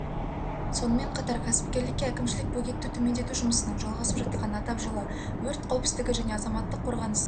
сонымен қатар кәсіпкерлікке әкімшілік бөгетті төмендету жұмысының жалғасып жатқанын атап жылы өрт қауіпсіздігі және азаматтық қорғаныс